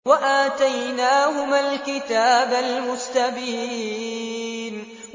وَآتَيْنَاهُمَا الْكِتَابَ الْمُسْتَبِينَ